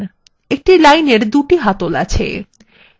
একটি line এর দুটি handles আছে